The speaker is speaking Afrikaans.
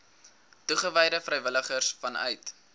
toegewyde vrywilligers vanuit